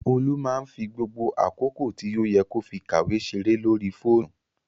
Olú máá ń fi gbogbo àkókò tí ó yẹ kó fi kàwé ṣeré lórí fóònù